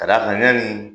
Ka d'a kan yanni